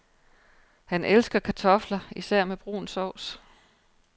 Han elsker kartofler, især med brun sovs.